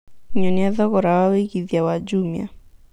nyonĩa thogora wa wĩĩgĩthĩa wa jumia